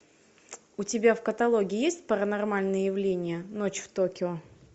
у тебя в каталоге есть паранормальные явления ночь в токио